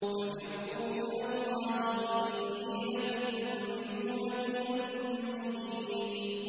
فَفِرُّوا إِلَى اللَّهِ ۖ إِنِّي لَكُم مِّنْهُ نَذِيرٌ مُّبِينٌ